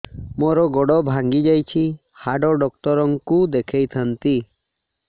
ମୋର ଗୋଡ ଭାଙ୍ଗି ଯାଇଛି ହାଡ ଡକ୍ଟର ଙ୍କୁ ଦେଖେଇ ଥାନ୍ତି